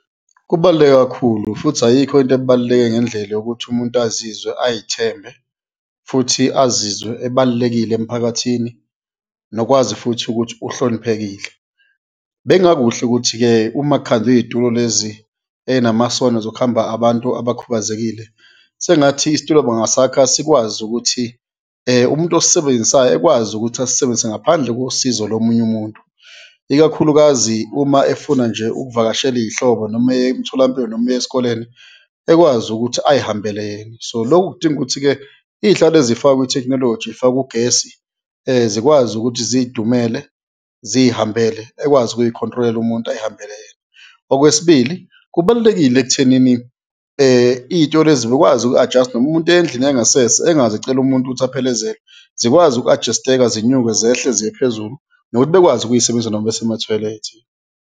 Kubaluleke kakhulu futhi ayikho into ebaluleke ngendlela yokuthi umuntu azizwe, ayithembe futhi azizwe ebalulekile emphakathini nokwazi futhi ukuthi uhloniphekile. Bekungakuhle ukuthi-ke uma kukhandwa iy'tulo lezi eyinamasondo zokuhamba abantu abakhubazekile, sengathi isitulo bangasakha sikwazi ukuthi umuntu osisebenzisayo ekwazi ukuthi asisebenzise ngaphandle kosizo lomunye umuntu, ikakhulukazi uma efuna nje ukuvakashela iy'hlobo noma eya emtholampilo noma eya esikoleni, ekwazi ukuthi ayihambele yena. So lokhu kudinga ukuthi-ke iy'hlalo ezifakwa ithekhinoloji zifakwe ugesi zikwazi ukuthi ziyidumele ziyihambele, ekwazi ukuyikhontrolela umuntu, ayihambele yena. Okwesibili, kubalulekile ekuthenini iy'thulo lezi bekwazi uku-adjust-a, noma umuntu eya endlini engasese, engaze ecele umuntu ukuthi aphelezelwe, zikwazi uku-adjust-eka, zinyuke zehle ziye phezulu nokuthi bekwazi ukuyisebenzisa noma bese mathoyilethi.